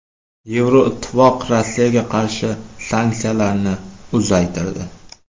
Yevroittifoq Rossiyaga qarshi sanksiyalarni uzaytirdi.